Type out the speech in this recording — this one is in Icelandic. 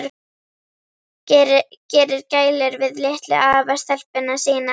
Gerir gælur við litlu afastelpuna sína.